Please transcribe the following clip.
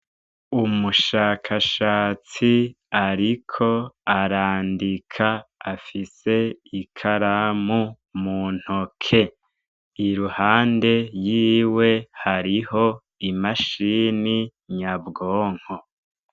Umushakashatsi ariko arandika afise ikaramu muntoke, iruhande yiwe hariho imashini nyabwonko.